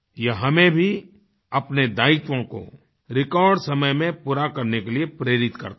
ये हमें भी अपने दायित्वों को रेकॉर्ड समय में पूरा करने के लिए प्रेरित करता है